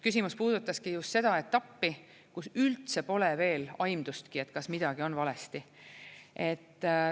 Küsimus puudutaski just seda etappi, kus üldse pole veel aimdust, kas midagi on valesti.